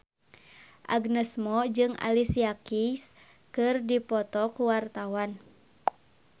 Agnes Mo jeung Alicia Keys keur dipoto ku wartawan